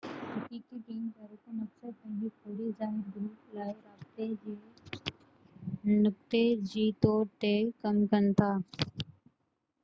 حقيقي ٽيم جا رڪن اڪثر پنهنجي فوري ظاهر گروپ لاءِ رابطي جو نقطي جي طور تي ڪم ڪن ٿا